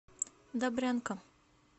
добрянка